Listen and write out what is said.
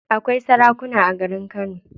Akwai sarakuna a garin kano.